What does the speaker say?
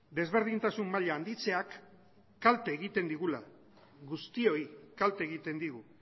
desberdintasun maila handitzeak kalte egiten digula guztioi kalte egiten digu